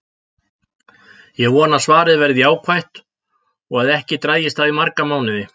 Ég vona að svarið verði jákvætt og að ekki dragist það í marga mánuði.